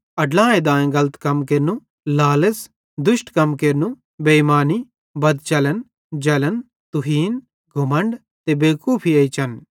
अड्लाए देइने गलत कम केरनू लालच़ दुष्ट कम केरनू बेइमानी बदचलन जलन तुहीन घमण्ड ते बेवकूफी एच्चन